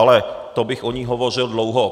Ale to bych o ní hovořil dlouho.